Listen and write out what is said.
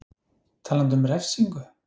Talandi um refsingu?